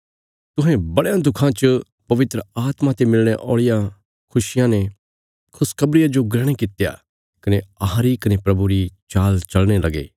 तुहें बड़यां दुखां च पवित्र आत्मा ते मिलणे औल़ियां खुशिया ने खुशखबरिया जो ग्रहण कित्या कने अहांरी कने प्रभुरी चाल चलने लगे